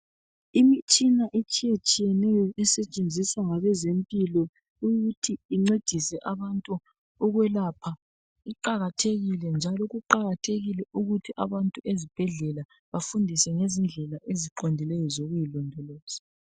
Imitshina etshiyetshiyeneyo esetshenziswa ngabezempilo ukuthi incedise abantu ukwelapha, iqakathekile njalo kuqakathekile ukuthi abantu ezibhedlela bafundiswe ngezindlela eziqondileyo zokuyilondoloza.